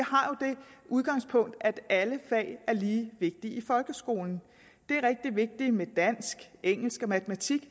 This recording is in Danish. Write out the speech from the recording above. udgangspunkt at alle fag er lige vigtige i folkeskolen det er rigtig vigtigt med dansk engelsk og matematik